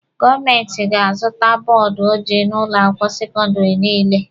Gọọmenti ga-azụta bọọdụ ojii n'ụlọ akwụkwọ sekọndịrị niile.